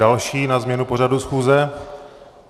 Další na změnu pořadu schůze?